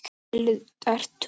Deildartúni